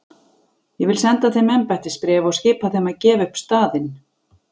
Ég vil senda þeim embættisbréf og skipa þeim að gefa upp staðinn.